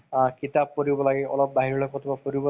তাৰ বহুতে ভাল লাগে।